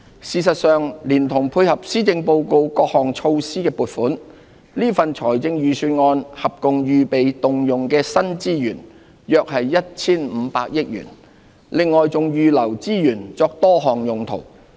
事實上，連同配合施政報告各項措施的撥款，這份預算案合共預備動用的新資源約 1,500 億元，另外還預留資源作多項用途。